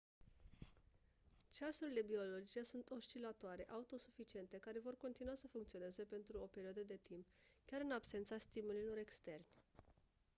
ceasurile biologice sunt oscilatoare autosuficiente care vor continua să funcționeze pentru o perioadă de timp chiar în absența stimulilor externi